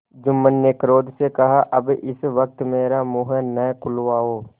जुम्मन ने क्रोध से कहाअब इस वक्त मेरा मुँह न खुलवाओ